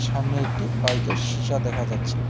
সামনে একটি বাইক -এর শিসা দেখা যাচ্ছে।